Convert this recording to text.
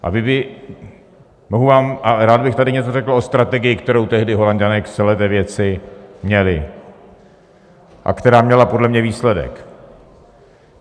A rád bych tady něco řekl o strategii, kterou tehdy Holanďané k celé té věci měli a která měla podle mě výsledek.